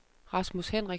Rasmus Hendriksen